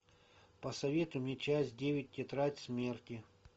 посоветуй мне часть девять тетрадь смерти